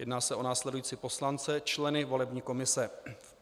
Jedná se o následující poslance, členy volební komise.